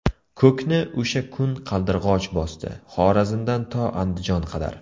Ko‘kni o‘sha kun Qaldirg‘och bosdi Xorazmdan to Andijon qadar.